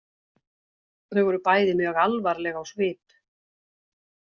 Þau voru bæði mjög alvarleg á svip.